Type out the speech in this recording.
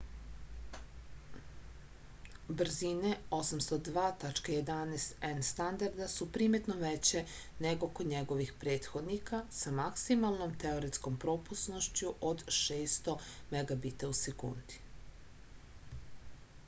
брзине 802.11н стандарда су приметно веће него код његових претходника са максималном теоретском пропусношћу од 600 mbit/s